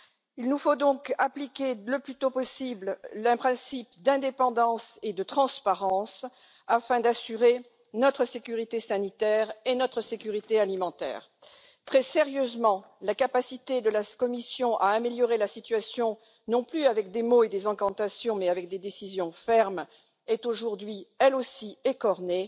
Il nous faut donc appliquer le plus tôt possible les principes d'indépendance et de transparence afin d'assurer notre sécurité sanitaire et notre sécurité alimentaire. Très sérieusement, la capacité de la Commission à améliorer la situation, non plus avec des mots et des incantations, mais avec des décisions fermes est aujourd'hui, elle aussi, écornée.